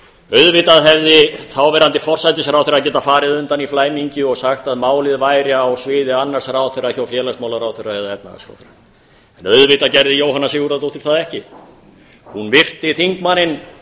auðvitað hefði þáverandi forsætisráðherra getað farið undan í flæmingi og sagt að málið væri á sviði annars ráðherra hjá félagsmálaráðherra eða efnahagsráðherra en auðvitað gerði jóhanna sigurðardóttir það ekki hún virti þingmanninn